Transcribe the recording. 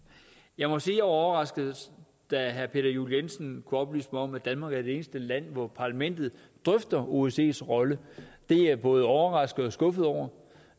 jeg må sige at overrasket da herre peter juel jensen oplyste mig om at danmark er det eneste land hvor parlamentet drøfter osces rolle det er jeg både overrasket og skuffet over